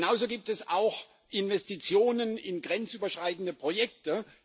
Genauso gibt es auch Investitionen in grenzüberschreitende Projekte.